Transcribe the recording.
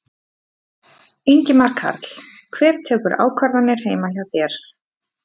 Ingimar Karl: Hver tekur ákvarðanir heima hjá þér?